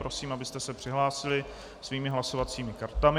Prosím, abyste se přihlásili svými hlasovacími kartami.